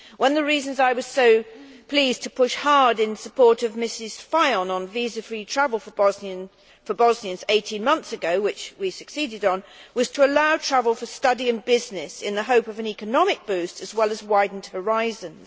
One of the reasons I was so pleased to push hard in support of Ms Fajon on visa free travel for Bosnians 18 months ago with which we succeeded was to allow travel for study and business in the hope of an economic boost, as well as widened horizons.